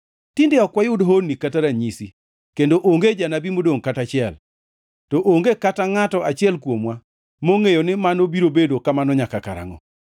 Tinde ok wayud honni kata ranyisi, kendo onge jonabi modongʼ kata achiel, to onge kata ngʼato achiel kuomwa mongʼeyo ni mano biro bedo kamano nyaka karangʼo.